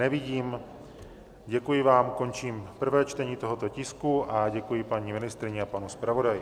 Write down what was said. Nevidím, děkuji vám, končím prvé čtení tohoto tisku a děkuji paní ministryni a panu zpravodaji.